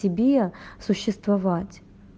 тебе существовать